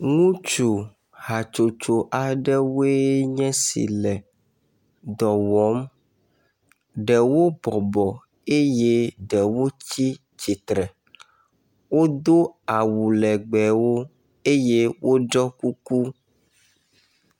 Ŋutsu hatsotso aɖewoe nye si le dɔ wɔm. Ɖewo bɔbɔ eye ɖewo tsi tsitre. Wodo awu legbewo eye woɖɔ kuku.